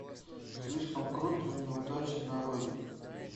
слишком крут для неудачи нарой